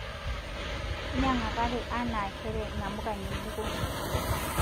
Nyangakaki aana kere namuka ngejiko